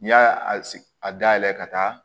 N'i y'a sigi a dayɛlɛ ka taa